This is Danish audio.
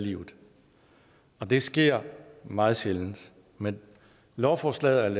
livet og det sker meget sjældent men lovforslaget